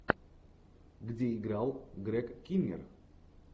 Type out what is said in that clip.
где играл грег киннер